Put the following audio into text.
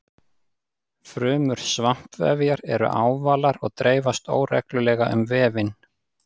Frumur svampvefjar eru ávalar og dreifast óreglulega um vefinn.